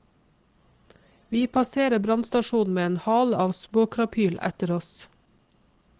Vi passerer brannstasjonen med en hale av småkrapyl etter oss.